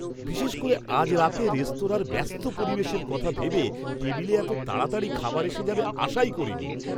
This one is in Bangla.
বিশেষ করে আজ রাতে রেস্তোরাঁর ব্যস্ত পরিবেশের কথা ভেবে টেবিলে এত তাড়াতাড়ি খাবার এসে যাবে আশাই করিনি!